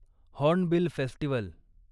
hornbill festival